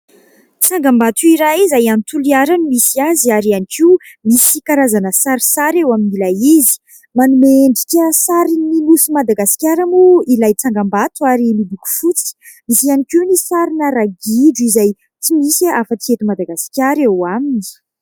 Tsangam-bato iray izay any Toliary no misy azy ary ihany koa misy karazana sarisary eo amin'ilay izy. Manome endrika sarin'ny nosy Madagasikara moa ilay tsangam-bato ary miloko fotsy. Misy ihany koa ny sarina ragidro izay tsy misy afa-tsy eto Madagasikara eo aminy.